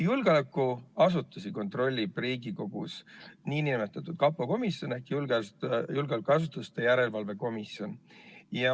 Julgeolekuasutusi kontrollib Riigikogus nn kapo komisjon ehk julgeolekuasutuste järelevalve komisjon.